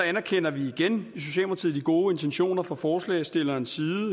anerkender vi igen i socialdemokratiet de gode intentioner fra forslagsstillernes side